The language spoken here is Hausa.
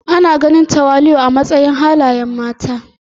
Ana ganin tawali'u a matsayin halayen mata.